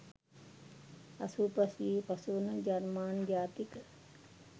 අසූ පස් වියේ පසුවන ජර්මන් ජාතික